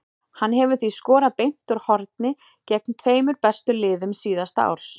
Hann hefur því skorað beint úr horni gegn tveimur bestu liðum síðasta árs.